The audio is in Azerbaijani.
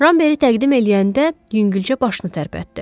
Ramberi təqdim eləyəndə yüngülcə başını tərpətdi.